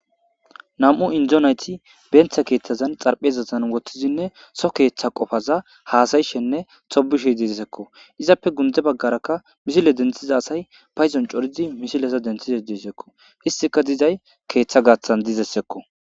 Nam'u Indo nayti benta kethazani xaraphezazani wothidinne so ketha qopaza hasa'ashenne tobishe dizagsako, izappe gunde bagaraka misile denthiza asay paydon corid misileza denthishe desko, istika dizay keetha gathani dizaysako.